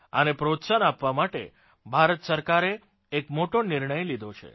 આને પ્રોત્સાહન આપવા માટે ભારત સરકારે એક મોટો નિર્ણય લીધો છે